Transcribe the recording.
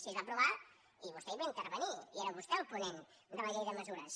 sí es va aprovar i vostè hi va intervenir i era vostè el ponent de la llei de mesures